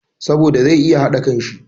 Sabida zai iya haɗa kanshi